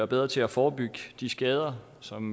bedre til at forebygge de skader som